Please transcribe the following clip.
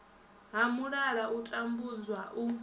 ha mulala u tambudzwa u